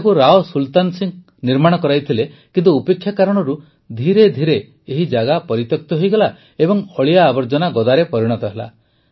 ଏହାକୁ ରାଓ ସୁଲତାନ ସିଂହ ନିର୍ମାଣ କରାଇଥିଲେ କିନ୍ତୁ ଉପେକ୍ଷା କାରଣରୁ ଧୀରେ ଧୀରେ ଏହି ଜାଗା ପରିତ୍ୟକ୍ତ ହୋଇଗଲା ଏବଂ ଅଳିଆ ଆବର୍ଜନା ଗଦାରେ ପରିଣତ ହେଲା